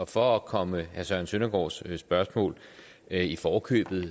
for at komme herre søren søndergaards spørgsmål i forkøbet